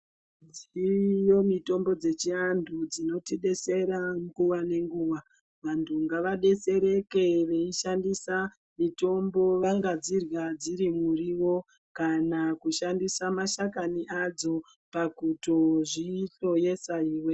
Dziriyo mitombo dzechianthu dzinotidetsera nguwa nenguwa. Vanthu ngavadetsereke veishandisa mitombo. Vangadzirya dziri muriwo, kana kushandisa mashakani adzo, pakutozvihloyesa iwe.